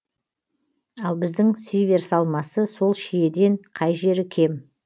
ал біздің сиверс алмасы сол шиеден қай жері кем